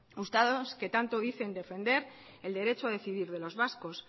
ustedes que tanto dicen defender el derecho a decidir de los vascos